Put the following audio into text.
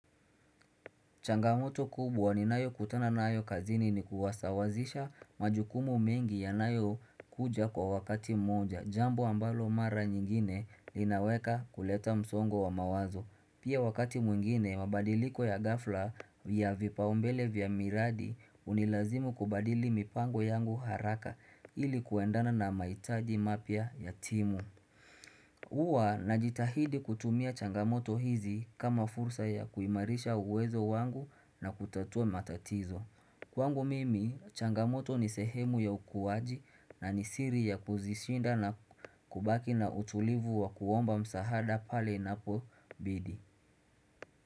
Changamoto kubwa ninayokutana nayo kazini ni kuwasawazisha majukumu mengi ya nayo kuja kwa wakati mmoja. Jambo ambalo mara nyingine linaweka kuleta msongo wa mawazo. Pia wakati mwingine, mabadiliko ya ghafla ya vipaombele vya miradi hunilazimu kubadili mipango yangu haraka ili kuendana na maitaji mapya yatimu. Huwa najitahidi kutumia changamoto hizi kama fursa ya kuimarisha uwezo wangu na kutatua matatizo. Kwangu mimi, changamoto ni sehemu ya ukuwaji na ni siri ya kuzishinda na kubaki na utulivu wa kuomba msahada pale inapobidi.